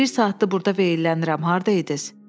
Bir saatdır burda veylənirəm, harda idiniz?